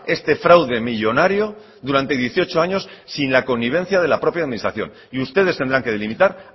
este fraude millónario durante dieciocho años sin la connivencia de la propia administración y ustedes tendrán que delimitar